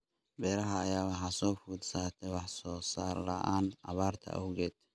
Beeraha ayaa waxaa soo food saartay wax soo saar la�aan abaarta awgeed.